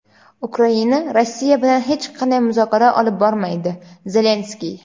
Ukraina Rossiya bilan hech qanday muzokara olib bormaydi – Zelenskiy.